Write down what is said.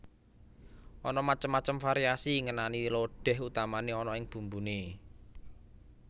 Ana macem macem variasi ngenani lodéh utamané ana ing bumbuné